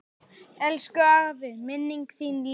Elsku afi, minning þín lifir.